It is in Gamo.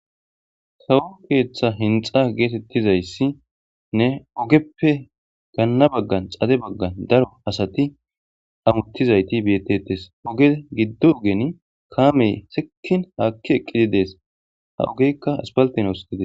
Sawu keeththa hinxa geetettizayssinne ogeppe ganna baggan xade baggan daro asati amuttizayti beettetes oge giddo ogen kaamey sikin haakki eqqidi dees ha ogekka aspalten os gides.